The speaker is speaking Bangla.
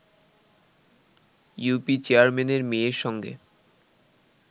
ইউপি চেয়ারম্যানের মেয়ের সঙ্গে